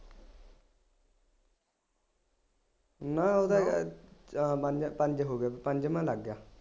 ਨਾ ਉਹਦਾ ਯਾਰ ਅਹ ਪੰਜ ਹੋ ਗਏ, ਪੰਜਵਾਂ ਲੱਗ ਗਿਆ